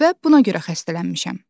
Və buna görə xəstələnmişəm.